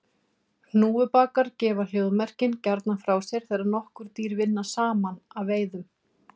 Hnúfubakar gefa hljóðmerkin gjarnan frá sér þegar nokkur dýr vinna saman að veiðunum.